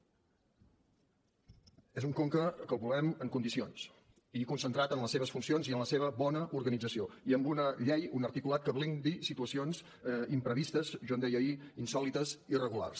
és un conca que volem en condicions i concentrat en les seves funcions i en la seva bona organització i amb una llei un articulat que blindi situacions imprevistes jo en deia ahir insòlites i irregulars